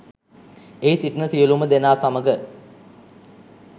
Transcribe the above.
එහි සිටින සියලුම දෙනා සමඟ